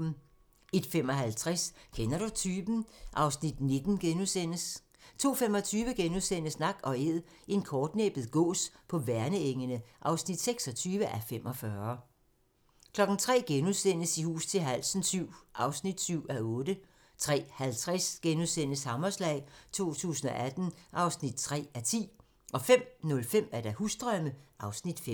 01:55: Kender du typen? (Afs. 19)* 02:25: Nak & Æd - en kortnæbbet gås på Værnengene (26:45)* 03:00: I hus til halsen VII (7:8)* 03:50: Hammerslag 2018 (3:10)* 05:05: Husdrømme (Afs. 5)